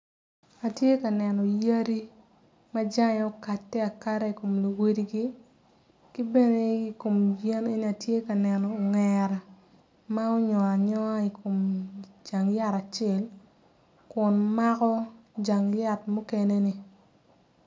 Atye ka neno yadi ma jange okate akada ikom luwadigi ki bene ikom yen eni atye ka neno ongera ma unyongo anyonga ikom jang yat acel kun mako jang yat mukene-ni